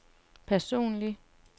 personlig